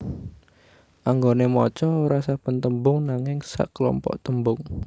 Anggone maca ora saben tembung nanging saklompok tembung